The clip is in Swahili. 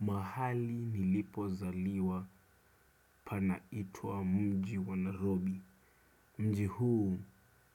Mahali nilipozaliwa pana itwa mji wa nairobi Mji huu